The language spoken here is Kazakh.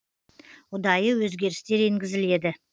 ұдайы өзгерістер енгізіледі